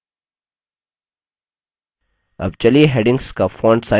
अब चलिए headings का font size बढ़ाते हैं